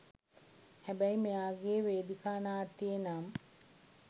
හැබැයි මෙයාගේ වේදිකා නාට්‍යයේ නම්